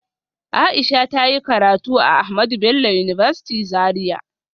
Aisha ta yi karatu a Ahmadu Bello University Zaria